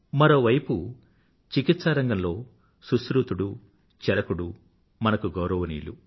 మరోవైపు చికిత్సా రంగంలో సుష్రుతుడు చరకుడు మనకు గౌరవనీయులు